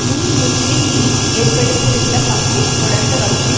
முன் முஸ்லிம் லீக் ஏற்படுத்தியிருந்த பங்கை தொடர்ந்த வகையில்